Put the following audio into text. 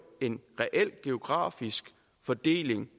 en geografisk fordeling